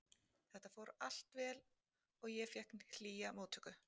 Þetta fór allt vel og ég fékk hlýja móttöku.